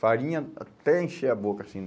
Farinha até encher a boca, assim.